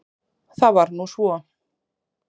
Það var nú svo.